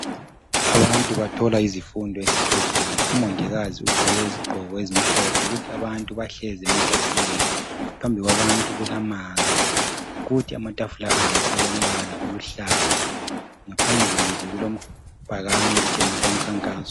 abantu bathola izifundo esibhedlela umongikazi uqgoke izigqoko ezimhlophe kuthi abantu bahlezi ematafuleni phambi kwabantu kulamanzi kuthi amatafula abo alombala oluhlaza ngaphambili kulebhakane elitshengisa umkhankaso